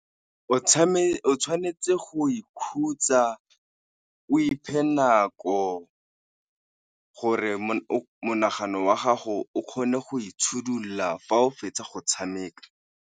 O tshwanetse go ikhutsa, o iphe nako gore o monagano wa gago o kgone go fa o fetsa go tshameka.